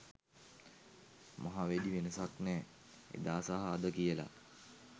මහා වැඩි වෙනසක් නෑ එදා‌ සහ අද කියල